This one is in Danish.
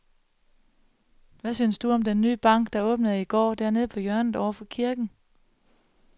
Hvad synes du om den nye bank, der åbnede i går dernede på hjørnet over for kirken?